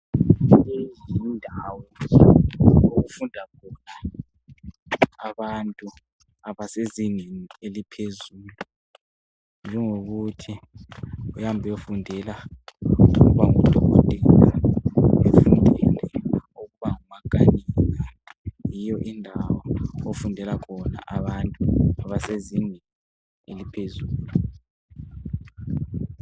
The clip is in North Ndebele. Leyi yindawo okufunda khona abantu abasezingeni eliphezulu njengokuthi uyahamba uyefundela ukuba ngudokotela kumbe ufundele ukuba ngumakanika yiyo indawo ofundela khona abantu abasezingeni eliphezulu.